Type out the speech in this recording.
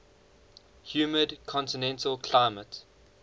humid continental climate